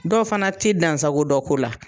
Dɔw fana tɛ dansago dɔ ko la.